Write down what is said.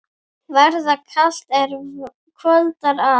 Verða kalt, er kvöldar að.